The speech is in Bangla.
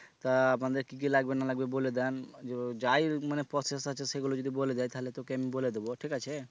তা আপনাদের কি কি লাগবে না লাগবে বলে দেন যাই মানে process আছে সেগুলো যদি বলে দেই তাহলে তোকে আমি বলে দিব ঠিক আছে?